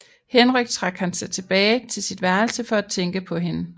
Henrykt trak han sig tilbage til sit værelse for at tænke på hende